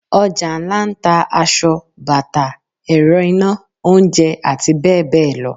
Ojà ńlá n ta asọ, bata, erò ina, oúnjẹ ati beẹbeẹ lọ